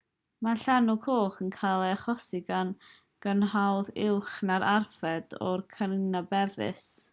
mae llanw coch yn cael ei achosi gan grynhoad uwch na'r arfer o karenia brevis organeb forol â chell unigol sy'n digwydd yn naturiol